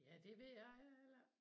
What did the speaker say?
Ja det ved jeg heller ikke